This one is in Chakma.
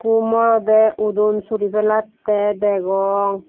okkho moroda odun suri pelatte degong.